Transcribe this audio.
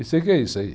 E sei o que é isso aí.